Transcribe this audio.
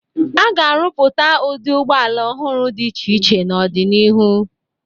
A ga-arụpụta ụdị ụgbọala ọhụrụ dị iche iche n'ọdịnihu.